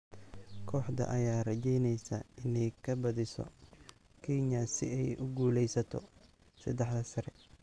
Kooxda ayaa rajeyneysa inay ka badiso Kenya si ay ugu guuleysato seddexda sare.